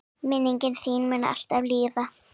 Minning þín mun alltaf lifa.